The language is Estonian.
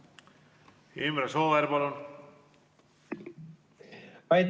Imre Sooäär, palun!